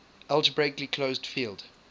algebraically closed field